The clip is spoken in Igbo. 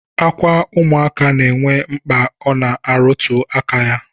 Akwa ụmụaka na-enwe mkpa ọ na-arụtụ aka ya